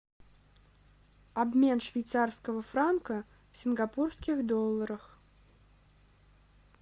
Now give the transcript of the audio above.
обмен швейцарского франка в сингапурских долларах